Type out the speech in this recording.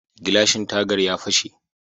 Gilashin tagar ya fashe.